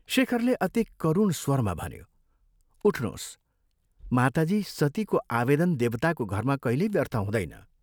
शेखरले अति करुण स्वरमा भन्यो, "उठ्नोस्, माताजी सतीको आवेदन देवताको घरमा कहिल्यै व्यर्थ हुँदैन।